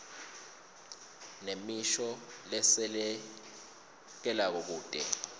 nemisho lesekelako kute